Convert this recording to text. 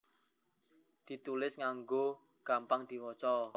ditulis nganggo huruf cithak kang jelas lan gampang diwaca